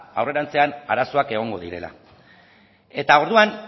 aurrerantzean arazoak egongo direla orduan